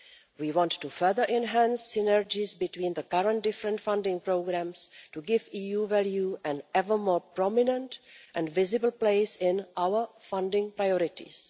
We want to further enhance synergies between the current different funding programmes to give EU value an ever more prominent and visible place in our funding priorities.